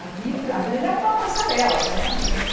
A vida a vida é uma passarela permanente.